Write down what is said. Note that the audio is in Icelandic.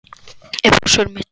Er pláss fyrir mitt tjald líka?